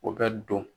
O bɛ don